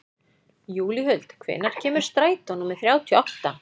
Júlíhuld, hvenær kemur strætó númer þrjátíu og átta?